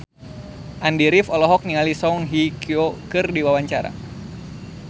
Andy rif olohok ningali Song Hye Kyo keur diwawancara